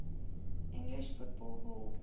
english football hall